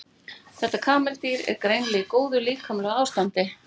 Þetta kameldýr er greinilega í góðu líkamlegu ástandi.